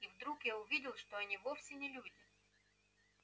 и вдруг я увидел что они вовсе не люди